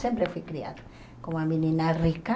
Sempre fui criada como uma menina rica.